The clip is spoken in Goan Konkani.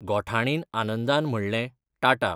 गोठाणीन आनंदान म्हणलें, टाटा..!